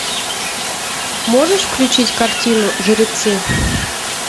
можешь включить картину жеребцы